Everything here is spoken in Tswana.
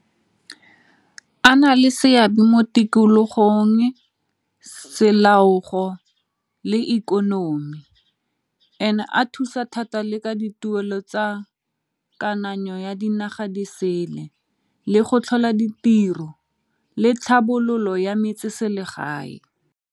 A na le seabe mo tikologong le ikonomi and a thusa thata le ka dituelo tsa kananyo ya dinaga di sele le go tlhola ditiro le tlhabololo ya metseselegae.